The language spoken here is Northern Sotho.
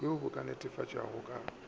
bjoo bo ka netefatpwago ka